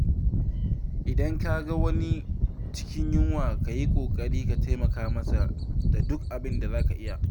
Idan ka ga wani a cikin yunwa, ka yi ƙoƙarin taimaka masa da duk abinda za ka iya.